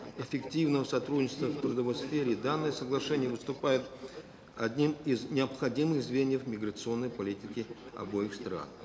эффективного сотрудничества в трудовой сфере данное соглашение выступает одним из необходимых звеньев миграционной политики обеих стран